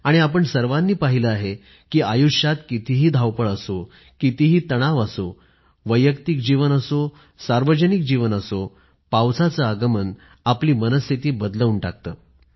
आणि आपण सर्वानी पाहिलं आहे कि आयुष्यात कितीही धावपळ असो कितीही तणाव असो वैयक्तिक जीवन असो सार्वजनिक जीवन असो पावसाचं आगमन आपली मनःस्थिती बदलवून टाकतं